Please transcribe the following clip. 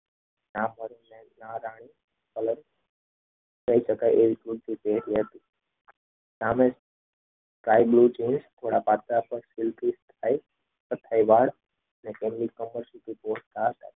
સામે sky blue jeans થોડા પાતરા પર